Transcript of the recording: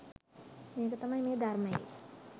මේක තමයි මේ ධර්මයේ